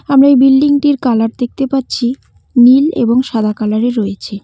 আমরা এই বিল্ডিং -টির কালার দেখতে পাচ্ছি নীল এবং সাদা কালার -এ রয়েছে।